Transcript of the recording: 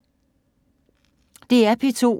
DR P2